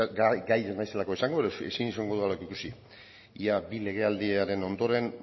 gai ez naizelako izango ezin izango dudalako ikusi ia bi legealdiren ondoren